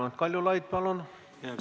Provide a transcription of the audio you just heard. Raimond Kaljulaid, palun!